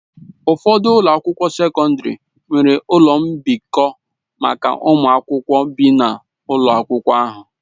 Ụfọdụ ụlọ akwụkwọ sekọndrị nwere ụlọ mbikọ maka ụmụ akwụkwọ bi n'ụlọ akwụkwọ ahụ.